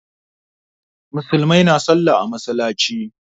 Musulmai na sallah a masallaci.